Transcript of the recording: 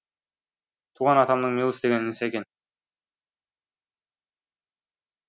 туған атамның меліс деген інісі екен